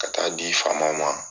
Ka taa di faama ma